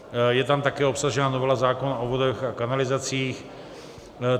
Je tam také obsažena novela zákona o vodách a kanalizacích.